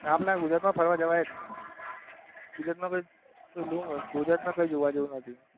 આપડા ગુજરાત માં ફરવા જવાય જ નઈ. ગુજરાત માં ગુજરાત માં કઈ જોવા જેવું નથી.